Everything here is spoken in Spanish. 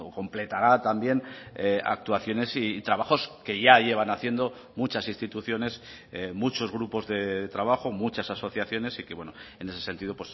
completará también actuaciones y trabajos que ya llevan haciendo muchas instituciones muchos grupos de trabajo muchas asociaciones y que en ese sentido